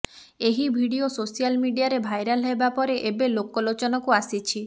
ଏହି video social ମିଡିଆରେ viral ହେବା ପରେ ଏବେ ଲୋକଲୋଚନକୁ ଆସିଛି